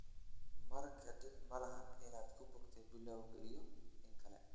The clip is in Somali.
marka dhib malaha inaad bukootay bilowgii iyo inkale.